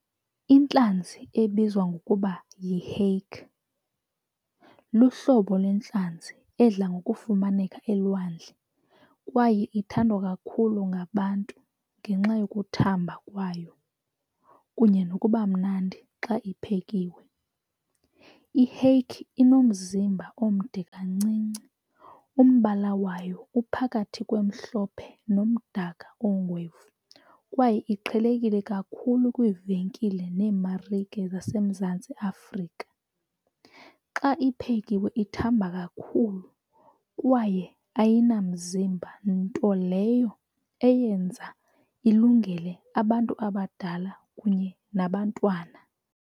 Intlanzi ebizwa ngokuba yi-hake luhlobo yintlanzi edla ngokufumaneka elwandle kwaye ithandwa kakhulu ngabantu ngenxa yokuthamba kwayo kunye nokuba mnandi xa iphekiwe. I-hake inomzimba omde kancinci, umbala wayo uphakathi kwemhlophe nemdaka ongwevu kwaye iqhelekile kakhulu kwiivenkile neemarike zaseMzantsi Afrika. Xa iphekiwe ithamba kakhulu kwaye ayinamzimba, nto leyo eyenza ilungele abantu abadala kunye nabantwana.